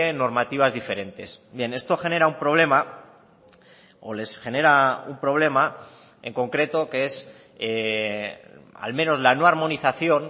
normativas diferentes bien esto genera un problema o les genera un problema en concreto que es al menos la no armonización